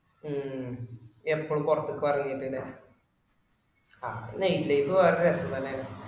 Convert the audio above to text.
ഉം എപ്പോളും പൊറത്തേക് ഇറങ്ങിട്ടനെ അത് night life വേറെ ഒരു രസം തന്നെ ആണ്